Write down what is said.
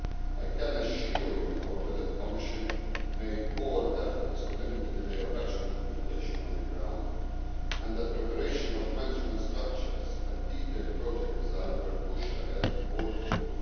I can assure you, however, that the Commission made all efforts to limit the delay of implementation on the ground, and that preparation of management structures and detailed project design were pushed ahead all through